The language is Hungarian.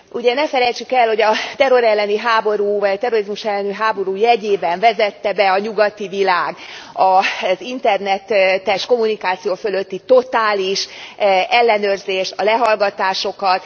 Ugye, ne felejtsük el, hogy a terror elleni háború, vagy a terrorizmus elleni háború jegyében vezette be a nyugati világ az internetes kommunikáció fölötti totális ellenőrzést, a lehallgatásokat.